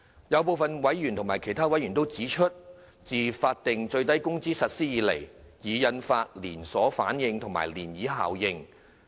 有部分委員指出，自法定最低工資實施以來，已引發連鎖反應及漣漪效應。